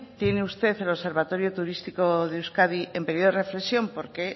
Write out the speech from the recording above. tiene usted el observatorio turístico de euskadi en periodo de reflexión porque